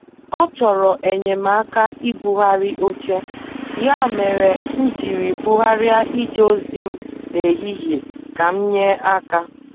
Ọ chọrọ enyemaka ibugharị oche, ya mere m jiri bugharịa ije ozi m n' ehihie ka m nye aka.